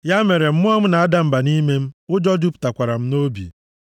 Ya mere mmụọ m na-ada mba nʼime m ụjọ jupụtakwara m nʼobi.